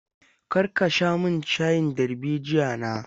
Kar ka sha min shayin darbejiya na!